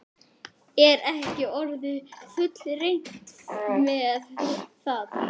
Er ekki orðið fullreynt með það?